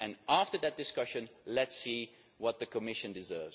After that discussion let us see what the Commission does.